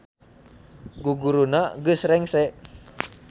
Guguruna geus rengse